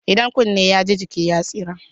Idan kunni ya ji jiki ya tsira.